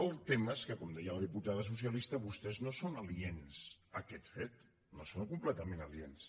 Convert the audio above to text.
el tema és que com deia la diputada socialista vostès no són aliens a aquest fet no hi són completament aliens